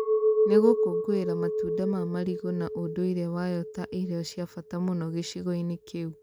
Nĩ gũkũngũĩra matunda ma marigũ na ũndũire wayo ta irio cia bata mũno gĩcigo-inĩ kĩu.